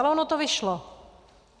Ale ono to vyšlo.